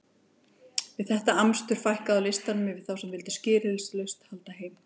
Við þetta amstur fækkaði á listanum yfir þá sem vildu skilyrðislaust halda heim.